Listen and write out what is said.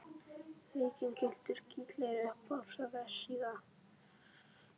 Víking gylltur í gleri Uppáhalds vefsíða?